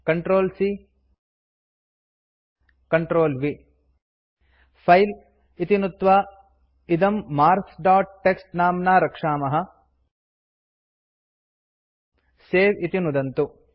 Ctrl C Ctrl V file इति नुत्त्वा इदम् मार्क्स् दोत् टीएक्सटी नाम्ना रक्षामः सवे इति नुदन्तु